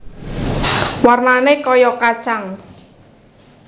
Warnané kaya kacang